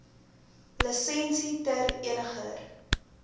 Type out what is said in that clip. lisensie ter eniger